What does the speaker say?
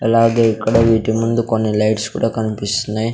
అలాగే ఇక్కడ వీటి ముందు కొన్ని లైట్స్ కూడా కనిపిస్తున్నాయి.